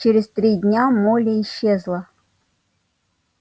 через три дня молли исчезла